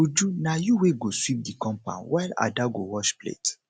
uju na you wey go sweep the compound while ada go wash plate